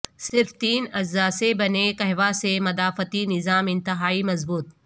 صرف تین اجزا سے بنے قہوہ سے مدافعتی نظام انتہائی مضبوط